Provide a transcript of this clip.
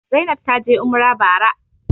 Zainab taje umrah bara